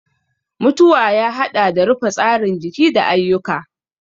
mutuwa ya haɗa da rufe tsarin jiki da ayyuka.